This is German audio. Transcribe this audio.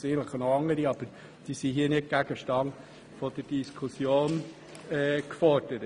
Es gäbe sicher noch andere Massnahmen, die aber nicht Gegenstand dieser Diskussion sind.